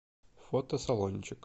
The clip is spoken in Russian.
фото салончик